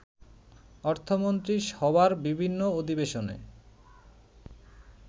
অর্থমন্ত্রী সভার বিভিন্ন অধিবেশনে